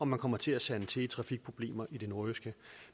man kommer til at sande til i trafikproblemer i det nordjyske